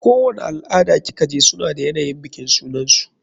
Kowani al-ada ki kaje suna da yanayin bikin sunansu.